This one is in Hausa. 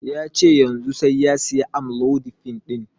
Yace yanzun sai saya amlodipine ɗin